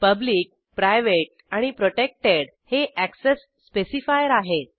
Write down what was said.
public private आणि protected हे access specifier आहेत